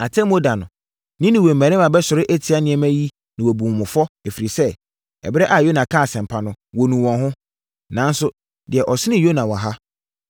Atemmuo da no, Ninewe mmarima bɛsɔre atia nnɛmma yi na wɔabu mo fɔ ɛfiri sɛ, ɛberɛ a Yona kaa asɛmpa no, wɔnuu wɔn ho. Nanso, deɛ ɔsene Yona wɔ ha.